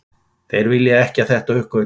Þeir vilja ekki að þetta uppgötvist